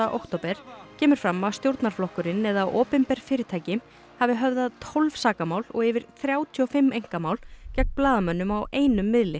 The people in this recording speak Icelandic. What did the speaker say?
október kemur fram að stjórnarflokkurinn eða opinber fyrirtæki hafi höfðað tólf sakamál og yfir þrjátíu og fimm einkamál gegn blaðamönnum á einum miðli